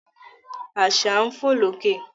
Àṣà ń fò lókè